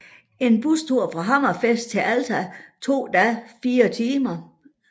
En bustur fra Hammerfest til Alta tog da fire timer